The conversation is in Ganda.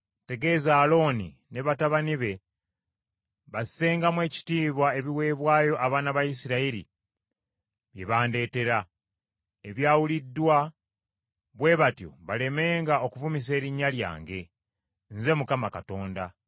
“Tegeeza Alooni ne batabani be bassengamu ekitiibwa ebiweebwayo abaana ba Isirayiri bye bandeetera, ebyawuliddwa, bwe batyo balemenga okuvumisa erinnya lyange. Nze Mukama Katonda.